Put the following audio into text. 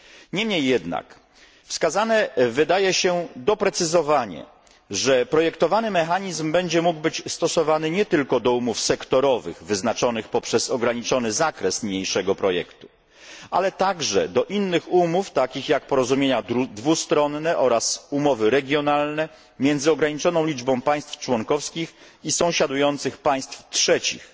Niemniej jednak wskazane wydaje się doprecyzowanie, że projektowany mechanizm będzie mógł być stosowany nie tylko do umów sektorowych wyznaczonych poprzez ograniczony zakres niniejszego projektu, ale także do innych umów, takich jak porozumienia dwustronne oraz umowy regionalne między ograniczoną liczbą państw członkowskich i sąsiadujących państw trzecich.